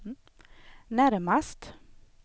närmast